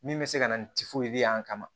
Min bɛ se ka na ni y'an kama